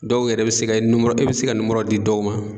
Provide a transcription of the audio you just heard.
Dɔw yɛrɛ be se ka , i be se di dɔw ma.